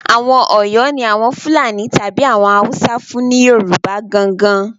Àwọn Ọ̀yọ́ ni Àwọn Fúlàní tàbí àwọn Haúsá fún ni Yorùbá gan-an gan-an